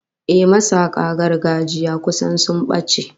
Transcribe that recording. Ehh, masaka gargajiya kusan sun bace